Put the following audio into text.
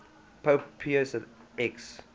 pope pius x